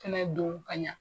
Te na don ka ɲɛ.